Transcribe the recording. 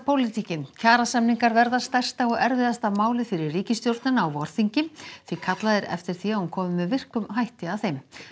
kjarasamningar verða stærsta og erfiðasta málið fyrir ríkisstjórnina á vorþingi því kallað er eftir því að hún komi með virkum hætti að þeim